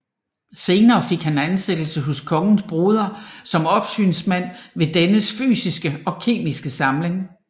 Senere fik han ansættelse hos kongens broder som opsynsmand ved dennes fysiske og kemiske samling